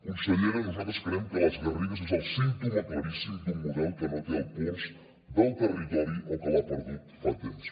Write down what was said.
consellera nosaltres creiem que les garrigues és el símptoma claríssim d’un model que no té el pols del territori o que l’ha perdut fa temps